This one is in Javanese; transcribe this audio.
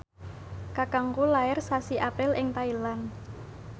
kakangku lair sasi April ing Thailand